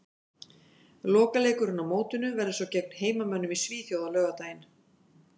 Lokaleikurinn á mótinu verður svo gegn heimamönnum í Svíþjóð á laugardaginn.